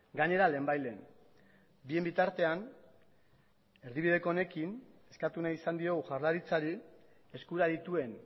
gainera lehenbailehen bien bitartean erdibideko honekin eskatu nahi izan diogu jaurlaritzari eskura dituen